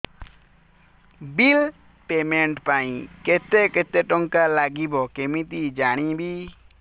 bill payment ପାଇଁ କେତେ କେତେ ଟଙ୍କା ଲାଗିବ କେମିତି ଜାଣିବି